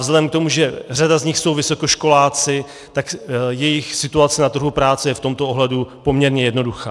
Vzhledem k tomu, že řada z nich jsou vysokoškoláci, tak jejich situace na trhu práce je v tomto ohledu poměrně jednoduchá.